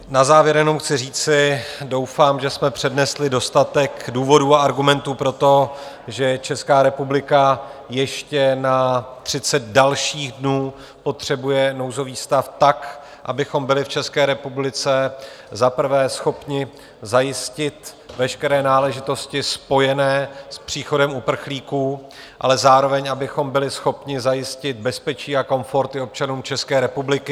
Na závěr jenom chci říci, doufám, že jsme přednesli dostatek důvodů a argumentů pro to, že Česká republika ještě na 30 dalších dnů potřebuje nouzový stav, tak abychom byli v České republice za prvé schopni zajistit veškeré náležitosti spojené s příchodem uprchlíků, ale zároveň abychom byli schopni zajistit bezpečí a komfort i občanům České republiky.